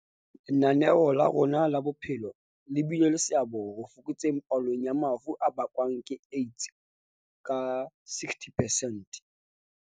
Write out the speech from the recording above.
Lenaneo la rona la pheko le bile le seabo ho fokotseng palo ya mafu a bakwang ke AIDS ka 60 percent.